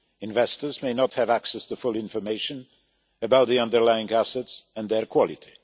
Investors may not have access to full information about the underlying assets and their quality.